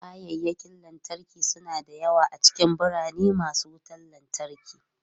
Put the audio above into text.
Kayakin lantarki suna da yawa a cikin birane masu wutan lantarki.